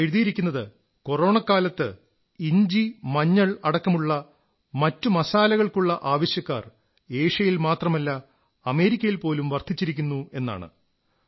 അതിൽ എഴുതിയിരിക്കുന്നത് കൊറോണ കാലത്ത് ഇഞ്ചി മഞ്ഞൾ അടക്കമുള്ള മറ്റു മസാലകൾക്കുള്ള ആവശ്യക്കാർ ഏഷ്യയിൽ മാത്രമല്ല അമേരിക്കയിൽ പോലും വർധിച്ചിരിക്കുന്നുവെന്നാണ്